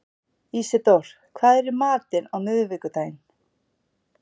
Ísidór, hvað er í matinn á miðvikudaginn?